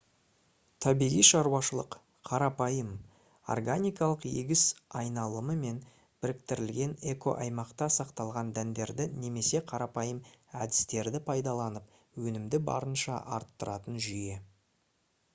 табиғи шаруашылық қарапайым органикалық егіс айналымымен біріктірілген экоаймақта сақталған дәндерді немесе қарапайым әдістерді пайдаланып өнімді барынша арттыратын жүйе